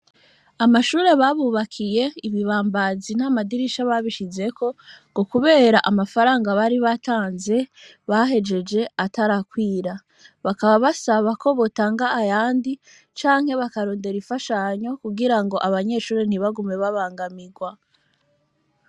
Amashure babubakiye ibibambazi n'amadirisha babishizeko ngo, kubera amafaranga bari batanze bahejeje atarakwira bakaba basabako botanga ayandi canke bakarondera ifashanyo kugira ngo abanyeshuri ntibagume babangamirwa.